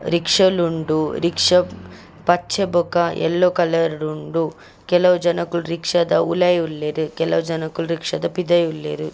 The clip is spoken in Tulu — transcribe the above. ರಿಕ್ಷ ಲ್ ಉಂಡು ರಿಕ್ಷ ಪಚ್ಚೆ ಬೊಕ ಎಲ್ಲೋ ಕಲರ್ ಡ್ ಉಂಡು ಕೆಲವು ಜನೊಕುಲು ರಿಕ್ಷ ದ ಉಲಾಯಿ ಉಲ್ಲೆರ್ ಕೆಲವು ಜನೊಕುಲು ರಿಕ್ಷ ದ ಪಿದಯ್ ಉಲ್ಲೆರ್.